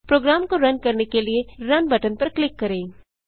programme को run करने के लिए रुन बटन पर क्लिक करें